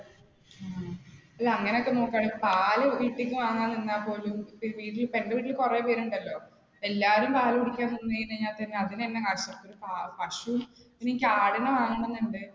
അങ്ങനെയൊക്കെ നോക്കുകയാണെങ്കിൽ പാല് വീട്ടീന്ന് വാങ്ങാം എന്നാപോലും ഇപ്പ എന്റെ വീട്ടിൽ കുറെ പേരുണ്ടല്ലോ. എല്ലാവരും പാൽ കുടിക്കാൻ നിന്ന് കഴിഞ്ഞാൽ തന്നെ അതിനുതന്നെ . പശു, പിന്നെ എനിക്ക് ആടിനെ വാങ്ങണം എന്നുണ്ട്.